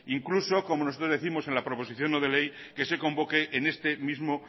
incluso como nosotros décimos en la proposición no de ley que se convoque en este mismo